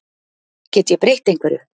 Get ég breytt einhverju?